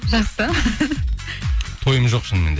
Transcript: жақсы тойым жоқ шынымен де